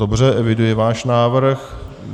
Dobře, eviduji váš návrh.